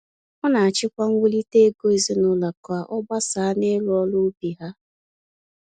Ọ na achị kwa nwulite ego ezinaụlọ ka ọ agbasa na iru ọrụ ubi ha.